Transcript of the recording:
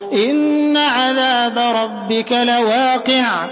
إِنَّ عَذَابَ رَبِّكَ لَوَاقِعٌ